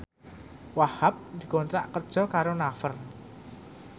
Wahhab dikontrak kerja karo Naver